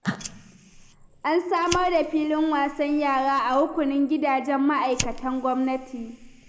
An samar da filin wasan yara a rukunin gidajen ma'aikatan gwamnati.